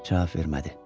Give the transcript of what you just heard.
Cavab vermədi.